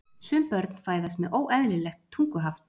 Sum börn fæðast með óeðlilegt tunguhaft.